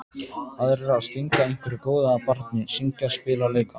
Aðrir að stinga einhverju góðu að barni, syngja, spila, leika.